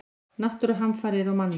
Náttúruhamfarir og mannlíf.